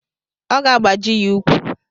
Ọ ga-agbaji ya ukwu.